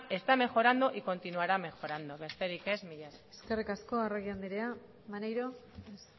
está mejorando y continuará mejorando besterik ez mila esker eskerrik asko arregi andrea maneiro ez